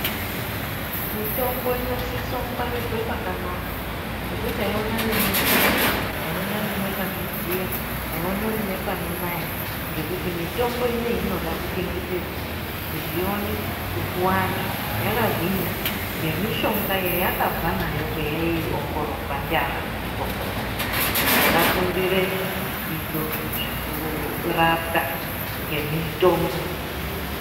Mitombo inosise kungwarirwa pakanaka, yekuti aionani ngemvura, aionani nepanodziya, aionani nepanonaya ngekuti mitombo inoyi inoda kuchengetedzwa kuti ione kupuwa andu yakagwinya ngemishonga yayakabva nayo kwayaiongororwa ndiana mazvikokota akafundire zvidzidzo zvokurapwa ngemitombo.